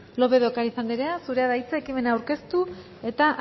lópez de ocariz andrea zurea da hitza ekimena aurkeztu eta